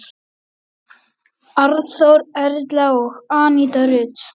Arnþór, Erla og Aníta Rut.